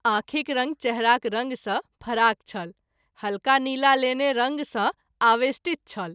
आँखिक रंग चेहराक रंग सँ फराक छल हल्का नीला लेने रंग सँ आवेष्टित छल।